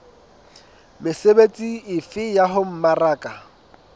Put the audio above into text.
mesebetsi efe ya ho mmaraka